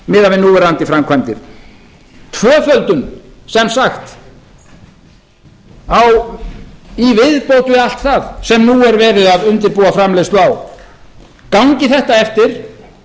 miðað við núverandi framkvæmdir tvöföldun sem sagt í viðbót við allt það sem nú er verið að undirbúa framleiðslu á gangi þetta eftir